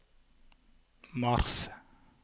mars